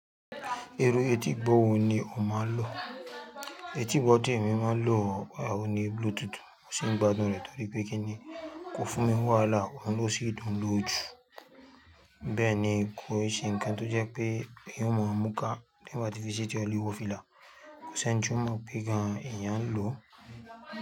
Irú etí gbọ́wọ́ ni o máa ń lò. Etí igbo ti ẹ̀mí máa ń lò ọ̀hun ni Bluetooth, mo sì ń gbádùn rẹ̀ torí pé kíni kò fún mi wàhálà, òun ló sì dùn lò jù. Bẹ́ẹ̀ ni kó ṣe nǹkan tó jẹ́ pé èèyàn ò mọ̀ ọ múkà. Tí ẹ̀yàn bá ti fi sí etí ọ̀ lewo fìlà, kò sì ẹni tí ó mọ̀ pé gan-an èèyàn ń lò.